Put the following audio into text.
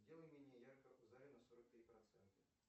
сделай менее ярко в зале на сорок три процента